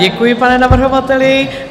Děkuji, pane navrhovateli.